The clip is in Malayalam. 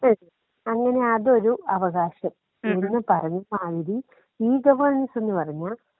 *നോട്ട്‌ ക്ലിയർ* അങ്ങനെ അതൊരു അവകാശം. ഇവിടുന്ന് പറഞ്ഞാ മാതിരി ഈ ഗവൺന്സ് എന്ന് പറഞ്ഞാ.